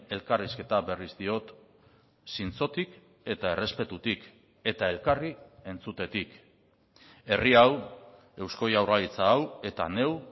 elkarrizketa berriz diot zintzotik eta errespetutik eta elkarri entzutetik herri hau eusko jaurlaritza hau eta neu